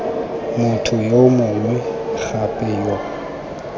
motho yo mongwe gape yo